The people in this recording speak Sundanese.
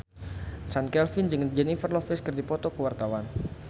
Chand Kelvin jeung Jennifer Lopez keur dipoto ku wartawan